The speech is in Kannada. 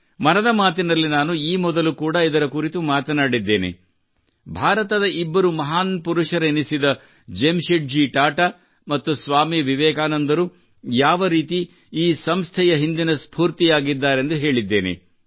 ಮನದ ಮಾತಿನಲ್ಲಿ ನಾನು ಈ ಮೊದಲು ಕೂಡಾ ಇದರ ಕುರಿತು ಮಾತನಾಡಿದ್ದೇನೆ ಭಾರತದ ಇಬ್ಬರು ಮಹಾನ್ ಪುರುಷರೆನಿಸಿದ ಜೆಮ್ ಶೆಡ್ ಜಿ ಟಾಟಾ ಮತ್ತು ಸ್ವಾಮಿ ವಿವೇಕಾನಂದರು ಯಾವ ರೀತಿ ಈ ಸಂಸ್ಥೆಯ ಹಿಂದಿನ ಸ್ಫೂರ್ತಿಯಾಗಿದ್ದಾರೆಂದು ಹೇಳಿದ್ದೇನೆ